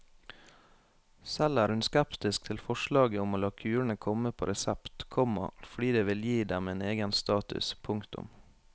Selv er hun skeptisk til forslaget om å la kurene komme på resept, komma fordi det vil gi dem en egen status. punktum